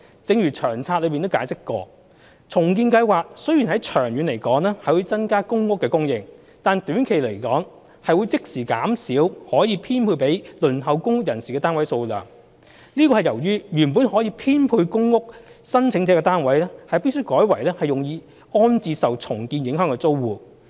正如《長策》解釋，重建計劃雖然長遠可增加公屋供應，但短期來說，會即時減少可供編配予輪候公屋人士的單位數量。這是由於原本可供編配予公屋申請者的單位，必須改為用於安置受重建影響的租戶。